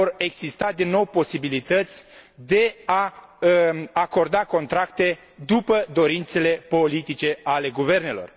Că vor exista din nou posibilități de a acorda contracte după dorințele politice ale guvernelor.